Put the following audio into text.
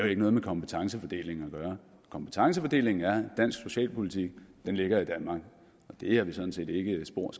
ikke noget med kompetencefordelingen at gøre kompetencefordelingen er sådan dansk socialpolitik ligger i danmark det er vi sådan set ikke spor